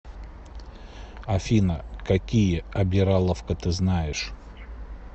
афина какие обираловка ты знаешь